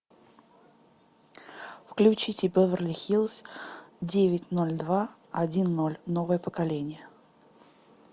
включите беверли хиллз девять ноль два один ноль новое поколение